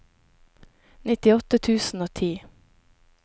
nittiåtte tusen og ti